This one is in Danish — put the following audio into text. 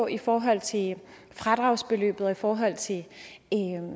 i forhold til fradragsbeløbet og i forhold til